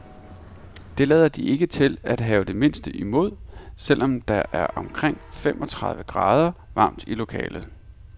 Det lader de ikke til at have det mindste imod, selv om der er omkring femogtredive grader varmt i lokalet.